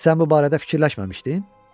Sən bu barədə fikirləşməmişdin?